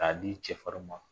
K'a g'i cɛfarinw ma!